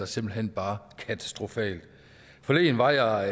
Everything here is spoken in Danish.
simpelt hen bare katastrofalt forleden var jeg